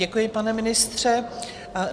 Děkuji, pane ministře.